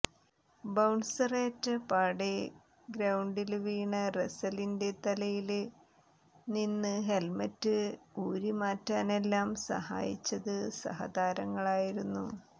ബൌണ്സറേറ്റ പാടെ ഗ്രൌണ്ടില് വീണ റസലിന്റെ തലയില് നിന്ന് ഹെല്മറ്റ് ഊരിമാറ്റാനെല്ലാം സഹായിച്ചത് സഹതാരങ്ങളായിരുന്നു